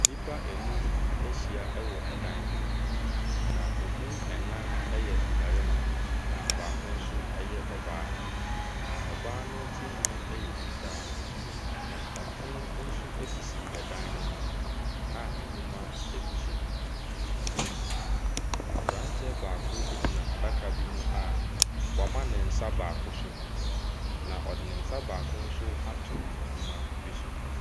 Nipa nnum bi ɛhyia wɔ ɛdan bi mu, na emu ɛnan ɛyɛ mmarima na baako nso ɛyɛ ɔbaa. Na ɔbaa no tiriwii ɛyɛ fitaa. Na ɛpono nso esisi ɛdan no mu a nnwoma egu so na abranteɛ baako egyina adaka bi mu a woama nensa baako so na ɔde ne nsa baako nso ato nnwoma bi so.